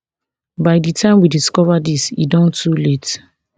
by di time we discover dis e don dey too late